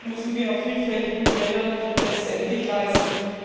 Das müssen wir auf vielfältigen Feldern letztendlich leisten.